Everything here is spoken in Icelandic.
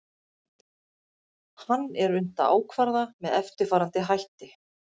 hann er unnt að ákvarða með eftirfarandi hætti